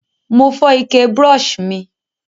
Mo fó ike brush mi